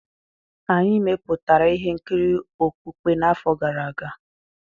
Anyị mepụtara ihe nkiri okpukpe n'afọ gara aga.